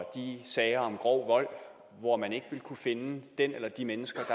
i de sager om grov vold hvor man ikke vil kunne finde den eller de mennesker